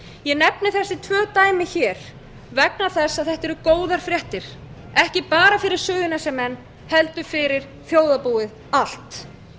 ég nefni þessi tvö dæmi hér vegna þess að þetta eru góðar fréttir ekki bara fyrir suðurnesjamenn heldur fyrir þjóðarbúið allt